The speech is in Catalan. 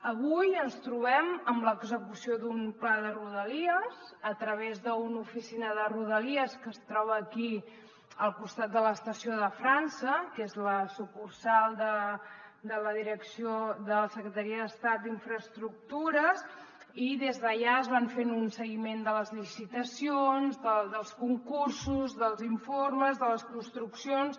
avui ens trobem amb l’execució d’un pla de rodalies a través d’una oficina de rodalies que es troba aquí al costat de l’estació de frança que és la sucursal de la direcció de la secretaria d’estat d’infraestructures i des d’allà es va fent un seguiment de les licitacions dels concursos dels informes de les construccions